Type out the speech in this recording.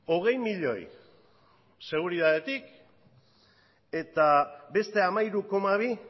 hogei milioi seguritatetik eta beste hamairu koma bi